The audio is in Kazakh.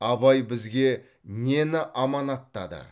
абай бізге нені аманаттады